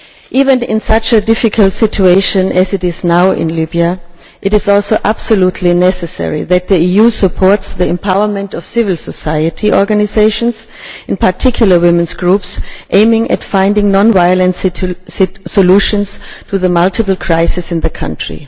Even in such a difficult situation as the one now in Libya, it is also absolutely necessary that the EU supports the empowerment of civil society organisations, in particular women's groups, aiming at finding non violent solutions to the multiple crises in the country.